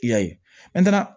I y'a ye